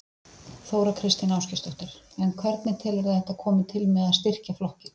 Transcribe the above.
Þóra Kristín Ásgeirsdóttir: En hvernig telurðu að þetta komi til með að styrkja flokkinn?